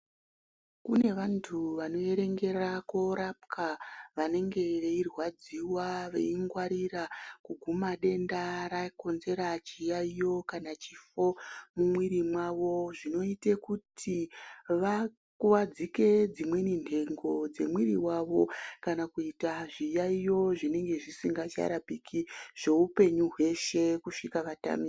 Kune vantu vanoerengera korapwa vanenge veirwadziwa veingwarira kuguma denda rakonzera chiyaiyo kana chifo mumwiri mwavo zvinoite kuti vakuwadzike dzimweni ntengo dzemwiri wavo kana kuita zviyaiyo zvinenge zvisingacharapiki zveupenyu zveshe kusvika vatamike.